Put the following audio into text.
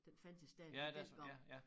Den fandtes stadig dengang